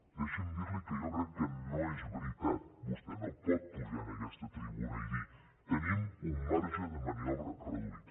deixi’m dir li que jo crec que no és veritat vostè no pot pujar en aquesta tribuna i dir tenim un marge de maniobra reduït